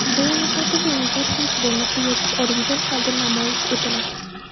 Viloyatlardagi o‘yinlar hech bo‘lmasa, yozib olingan holda namoyish etiladi.